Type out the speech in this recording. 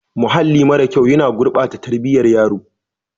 Mahalli mara kyau yana gurbata tarbiyyar yaro.